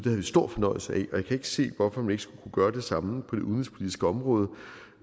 havde vi stor fornøjelse af og jeg kan ikke se hvorfor man ikke skulle kunne gøre det samme på det udenrigspolitiske område